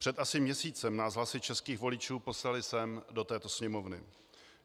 Před asi měsícem nás hlasy českých voličů poslaly sem, do této Sněmovny.